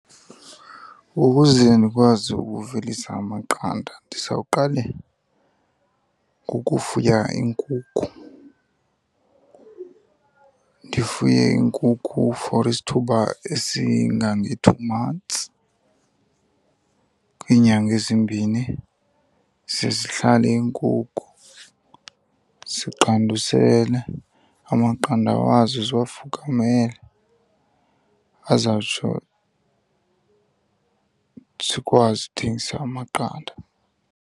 Ukuze ndikwazi ukuvelisa amaqanda ndizawuqale ngokufuya iinkukhu. Ndifuye iinkukhu for isithuba esingange-two months, kwiinyanga ezimbini, ze zihlale iinkukhu ziqandusele amaqanda wazo ziwafukamele, azawutsho sikwazi uthengisa amaqanda.